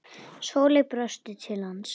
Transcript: Sóley brosti til hans.